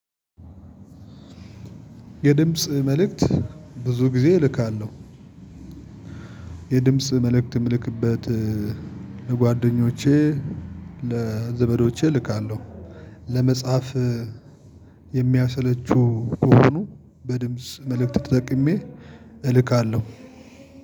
የድምጽ መልእክት ብዙ ጊዜ እልካለሁ። የድምጽ መልእክትም ምልክበት ለጓደኞቼ ለዘመዶቼ እልካለሁ። ለመጽሐፍ የሚያሰለቹ ከሆኑ በድምጽ መልእክት ተጠቅሜ እልካለሁ።